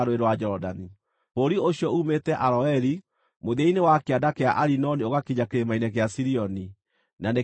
Bũrũri ũcio uumĩte Aroeri, mũthia-inĩ wa kĩanda kĩa Arinoni ũgakinya kĩrĩma-inĩ kĩa Sirioni (na nĩkĩo Herimoni),